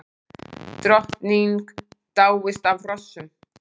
Drottning dáist að hrossum